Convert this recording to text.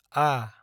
आ